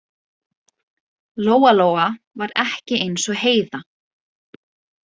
Lóa-Lóa var ekki eins og Heiða